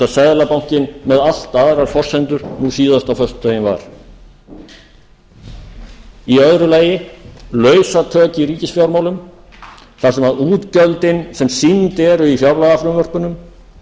seðlabankinn með allt aðrar forsendur nú síðast á föstudaginn var í öðru lagi lausatök í ríkisfjármálum þar sem útgjöldin sem sýnd eru í fjárlagafrumvörpunum